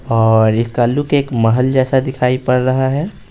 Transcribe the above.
और इसका लुक एक महल जैसा दिखाई पड़ रहा है।